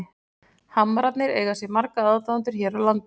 Hamrarnir eiga sér marga aðdáendur hér á landi.